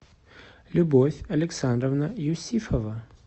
любовь александровна юсифова